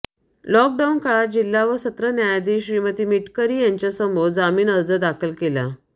lockdown काळात जिल्हा व सत्र न्यायाधीश श्रीमती मिटकरी यांच्यासमोर जामीन अर्ज दाखल केला